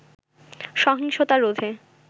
সহিংসতা রোধে